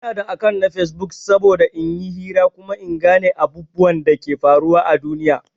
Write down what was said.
Ina da akant na Facebook saboda in yi hira kuma in gan abubwan Dake faruwa à duniya.